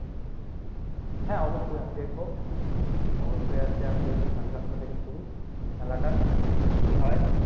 হ্যাঁ অবশ্যই এ, ই দেখবো অবশ্যই আজকে আমি দেখবো সাড়ে সাতটা থেকে শুরু খেলাটা একদিক দিয়ে হয়